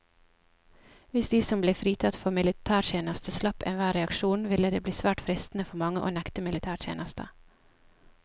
Hvis de som ble fritatt for militærtjeneste slapp enhver reaksjon, ville det bli svært fristende for mange å nekte militætjeneste.